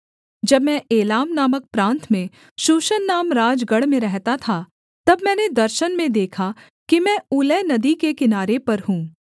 जब मैं एलाम नामक प्रान्त में शूशन नाम राजगढ़ में रहता था तब मैंने दर्शन में देखा कि मैं ऊलै नदी के किनारे पर हूँ